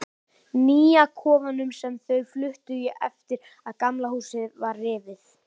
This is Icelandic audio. Nýja kofanum, sem þau fluttu í eftir að Gamla húsið var rifið.